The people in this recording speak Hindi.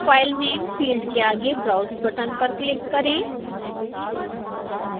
file name फील्ड के आगे browse बटन पर क्लिक करें